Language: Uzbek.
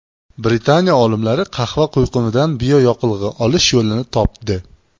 Britaniya olimlari qahva quyqumidan bioyoqilg‘i olish yo‘lini topdi.